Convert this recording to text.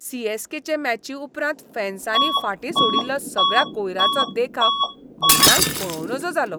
C. S. K. चे मॅची उपरांत फॅन्सानी फाटीं सोडिल्लो सगळ्या कोयराचो देखाव म्हज्यान पळंव नज जालो.